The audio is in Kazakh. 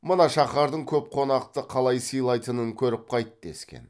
мына шаһардың көп қонақты қалай сыйлайтынын көріп қайт дескен